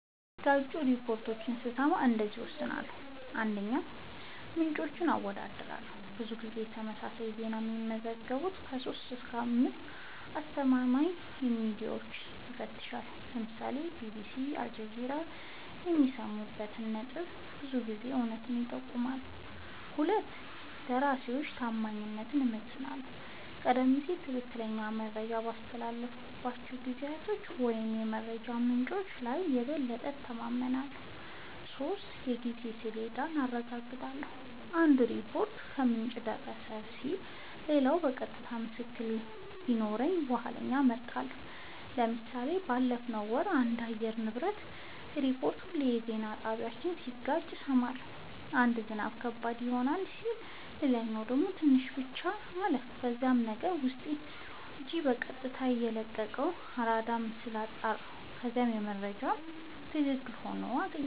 የሚጋጩ ሪፖርቶችን ስሰማ እንደዚህ እወስናለሁ :- 1, ምንጮችን አወዳድራለሁ :-ብዙ ጊዜ ተመሳሳይ ዜና የሚዘግቡ 3-5አስተማማኝ ሚድያወችን እፈትሻለሁ ( ለምሳሌ ቢቢሲ አልጀዚራ )የሚስማሙበት ነጥብ ብዙ ጊዜ እውነቱን ይጠቁማል 2 የደራሲወችን ታማኝነት እመዝናለሁ :-ቀደም ሲል ትክክለኛ መረጃ ባስተላለፉ ጋዜጠኞች ወይም የመረጃ ምንጮች ላይ የበለጠ እተማመናለሁ። 3 የጊዜ ሰሌዳውን አረጋግጣለሁ :- አንድ ሪፖርት "ከምንጭ የደረሰን" ሲል ሌላኛው የቀጥታ ምስክር ቢኖረው የኋለኛውን እመርጣለሁ ## ምሳሌ ባለፈው ወር ስለአንድ የአየር ንብረት ሪፖርት ሁለት የዜና ጣቢያወች ሲጋጩ ሰማሁ። አንዱ "ዝናብ ከባድ ይሆናል " ሲል ሌላኛው ደግሞ "ትንሽ ብቻ " አለ። ከዛም የአገር ውስጥ ሜትሮሎጅ በቀጥታ የለቀቀውን አራዳር ምስል አጣራሁ ከዛም የመጀመሪያው መረጃ ትክክል ሆኖ አገኘሁት